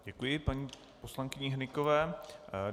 Děkuji paní poslankyni Hnykové.